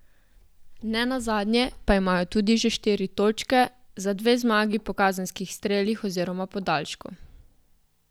Nenazadnje pa imajo tudi že štiri točke, za dve zmagi po kazenskih strelih oziroma podaljšku.